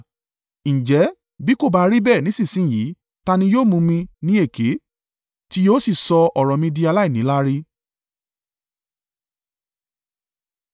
“Ǹjẹ́, bí kò bá rí bẹ́ẹ̀ nísinsin yìí, ta ni yóò mú mi ní èké, tí yóò sì sọ ọ̀rọ̀ mi di aláìníláárí?”